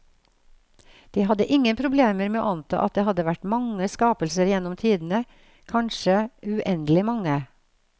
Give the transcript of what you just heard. De hadde ingen problemer med å anta at det hadde vært mange skapelser gjennom tidene, kanskje uendelig mange.